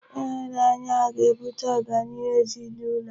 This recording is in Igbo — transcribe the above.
Ịhụnanya ga-ebute ọganihu ezinụlọ a